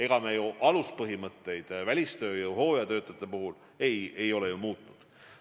Ega me ju aluspõhimõtteid välistööjõu ja hooajatöötajate puhul ei ole muutnud.